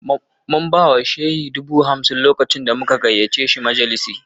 Mun ba wa Shehi dubu hamsin lokacin da muka gayyato shi majalisinmu